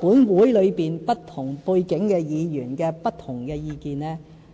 本會裏不同背景議員不同的意見。